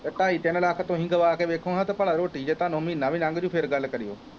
ਅਤੇ ਢਾਈ ਤਿੰਨ ਲੱਖ ਤੁਸੀਂ ਗਵਾਂ ਕੇ ਵੇਖੋ ਨਾ ਅਤੇ ਭਲਾ ਰੋਟੀ ਜੇ ਤੁਹਾਨੂੰ ਮਹੀਨਾ ਵੀ ਲੰਘ ਜਾਊ ਫੇਰ ਗੱਲ ਕਰਿਉ